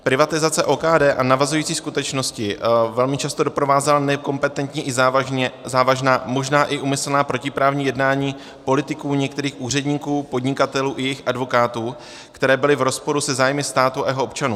Privatizace OKD a navazující skutečnosti velmi často doprovázela nekompetentní i závažná, možná i úmyslná protiprávní jednání politiků, některých úředníků, podnikatelů i jejich advokátů, které bylo v rozporu se zájmy státu a jeho občanů.